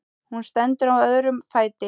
Hún stendur á öðrum fæti.